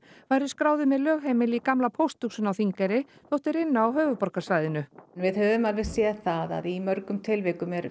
væru skráðir með lögheimili í gamla pósthúsinu á Þingeyri þótt þeir ynnu á höfuðborgarsvæðinu við höfum alveg séð það í mörgum tilvikum er